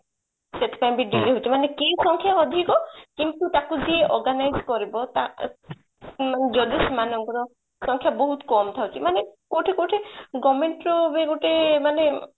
ସେଥିପାଇଁ ବି delay ହଉଛି ମାନେ case ସଂଖ୍ୟା ଅଧିକ କିନ୍ତୁ ତାକୁ ଯିଏ organize କରିବ ତା ଯଦି ସେମାନଙ୍କର ସଂଖ୍ୟା ବହୁତ କମ ଥାଉଛି ମାନେ କୋଉଠି କୋଉଠି government ର ବି ଗୋଟେ ମାନେ